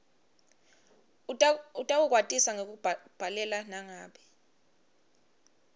utawukwatisa ngekukubhalela nangabe